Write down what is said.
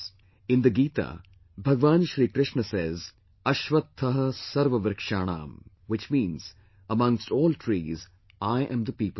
In the Gita, Bhagwan Shri Krishna says, 'ashwatth sarvvrikshanam' which means amongst all trees, I am the Peepal Tree